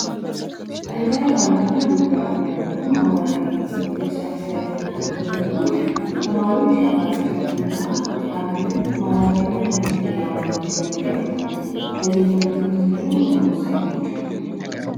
እንደ ሂስትሪ ና ጂኦግራፊ ያሉ ማህበራዊ ሳይንስ ላይ የሚያተኩሩ ትምህርቶች ተማሪዎች ሀገራቸውንና አለምን ማህበራዊና ፖለቲካዊ አውዱን እንዲረዱ ያግዛል። የዜግነት ትምህርቱን ደግሞ እንዲረዱ ያግዛል።